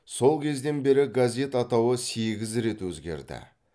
сол кезден бері газет атауы сегіз рет өзгерді